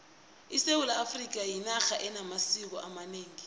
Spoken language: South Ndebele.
isewula afrikha yinarha enamasiko amanengi